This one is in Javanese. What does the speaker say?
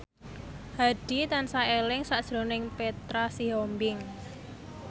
Hadi tansah eling sakjroning Petra Sihombing